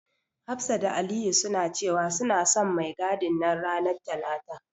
Hafsa da Aliyu suna cewa, suna son mai gadin nan ranar talata.